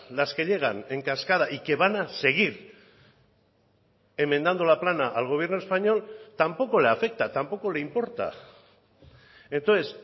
las que llegan en cascada y que van a seguir enmendando la plana al gobierno español tampoco le afecta tampoco le importa entonces